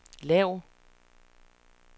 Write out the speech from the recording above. lav